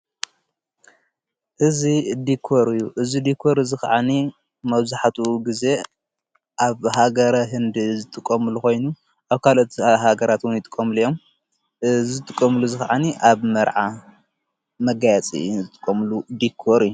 እዝ ዲኮርዩ እዝ ዲኮር ዝ ኸዓኒ መዙኃቱ ጊዜ ኣብ ሃገረ ሕንድ ዘጥቆምሉ ኾይኑ ኣብ ካልቲ ሃገራት ዉን ጥቆምል እዮም እዝጥቆምሉ ዝኸዓኒ ኣብ መርዓ መጋያጺ ዘትቆምሉ ዲኮር እዩ ።